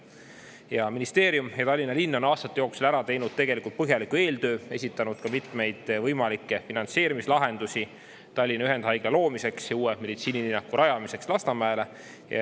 Ja ministeerium ja Tallinna linn on aastate jooksul ära teinud tegelikult põhjaliku eeltöö, esitanud ka mitmeid võimalikke finantseerimislahendusi Tallinna Ühendhaigla loomiseks ja uue meditsiinilinnaku rajamiseks Lasnamäele.